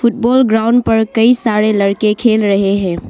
Ground पर कई सारे लड़के खेल रहे हैं।